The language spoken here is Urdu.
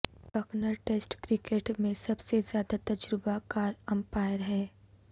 بکنر ٹیسٹ کرکٹ میں سب سے زیادہ تجربہ کار امپائر ہیں